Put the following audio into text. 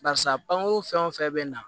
Barisa pankuru fɛn o fɛn bɛ na